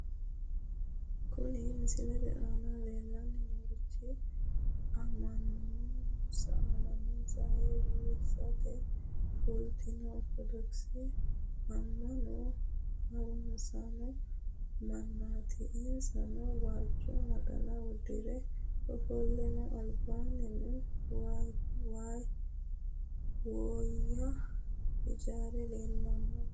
Kuni misilete aana leellanni noorichi amma'nonsa ayiirrisate fulinoha ortodokisete amma'no harunsaano mannaati, insano waajjo naxala uddire ofollino, albaannino woyya ijaari leellanno.